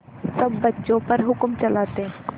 सब बच्चों पर हुक्म चलाते